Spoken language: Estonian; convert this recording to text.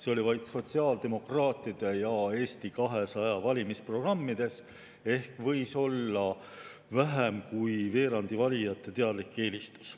See oli vaid sotsiaaldemokraatide ja Eesti 200 valimisprogrammides ehk võis olla vähem kui veerandi valijate teadlik eelistus.